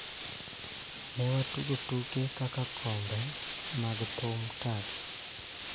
Ne watugo tuke kaka kombe mag thum, tag,